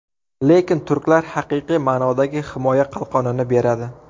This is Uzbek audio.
Lekin turklar haqiqiy ma’nodagi himoya qalqonini beradi.